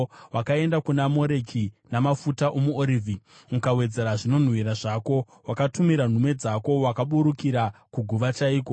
Wakaenda kuna Moreki namafuta omuorivhi ukawedzera zvinonhuhwira zvako. Wakatumira nhume dzako kure; wakaburukira kuguva chaiko!